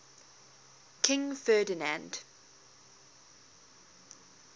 king ferdinand